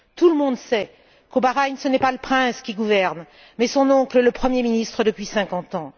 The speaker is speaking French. Tout le monde sait qu'au Bahreïn, ce n'est pas le prince qui gouverne mais son oncle, le premier ministre depuis cinquante ans.